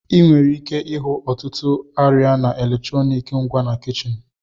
Ị nwere ike ịhụ ọtụtụ arịa na eletrọnịkị ngwa na kichin.